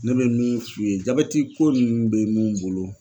Ne bɛ min f'u ye jabɛtiko ninnu bɛ mun bolo.